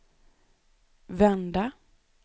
vända